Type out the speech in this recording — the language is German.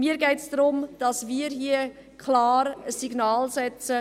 Mir geht es darum, dass wir hier ein klares Signal aussenden: